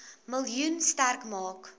miljoen sterk maak